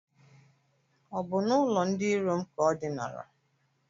Ọ bụ n'ụlọ ndị iro m ka o dinara?